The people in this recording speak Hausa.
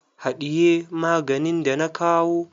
Haɗiye maganin da na kawo.